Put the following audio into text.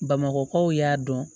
Bamakɔkaw y'a dɔn